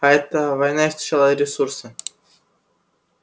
а эта война истощала ресурсы